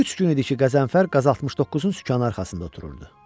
Üç gün idi ki, Qəzənfər QAZ 69-un sükanı arxasında otururdu.